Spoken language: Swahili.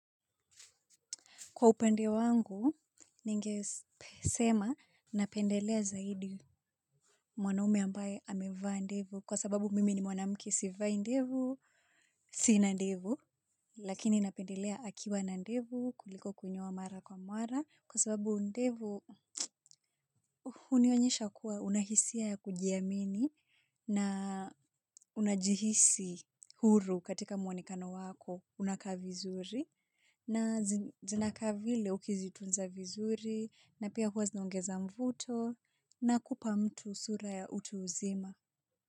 Kwa upande wangu, ningesema napendelea zaidi mwanaume ambaye amevaa ndevu kwa sababu mimi ni mwanamke sivai ndevu, sina ndevu, lakini napendelea akiwa na ndevu, kuliko kunyoa mara kwa mara kwa sababu ndevu hunionyesha kuwa una hisia ya kujiamini na unajihisi huru katika mwonekano wako unakaa vizuri. Na zinakaa vile ukizitunza vizuri na pia huwa zinaongeza mvuto na kupa mtu sura ya utu uzima.